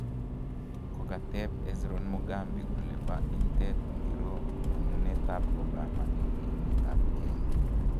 kokateb Hezron Mogambi kole ba inteet ngiro nyonunet ab Obama eng emet ab Kenya